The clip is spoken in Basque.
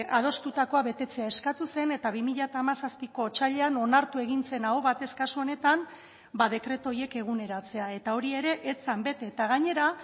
adostutakoa betetzea eskatu zen eta bi mila hamazazpiko otsailean onartu egin zen aho batez kasu honetan dekretu horiek eguneratzea eta hori ere ez zen bete eta gainera